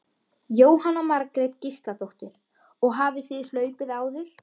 Jóhanna Margrét Gísladóttir: Og hafið þið hlaupið áður?